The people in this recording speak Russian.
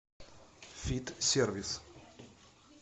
фит сервис